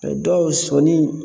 A dɔw sɔnni